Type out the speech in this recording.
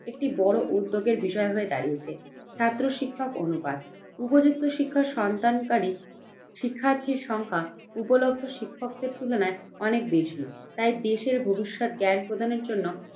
একটি বড় উদ্যোগের বিষয় হয়ে দাঁড়িয়েছে। ছাত্র-শিক্ষক অনুপাত, উপযুক্ত শিক্ষার সন্তান কারী শিক্ষার্থীর সংখ্যা উপলব্ধ শিক্ষকদের তুলনায় অনেক বেশি। তাই দেশের ভবিষ্যৎ জ্ঞান প্রদানের জন্য